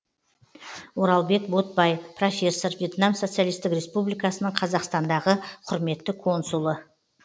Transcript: оралбек ботбаи профессор вьетнам социалистік республикасының қазақстандағы құрметті консулы